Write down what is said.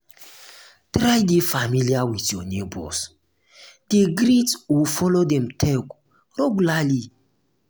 try de familiar with your neighbors de greet or follow dem talk regularly